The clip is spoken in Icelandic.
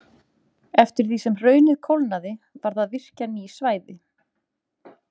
Eftir því sem hraunið kólnaði varð að virkja ný svæði.